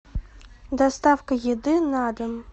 доставка еды на дом